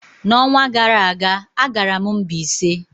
N'ọnwa gara aga, agara m Mbaise.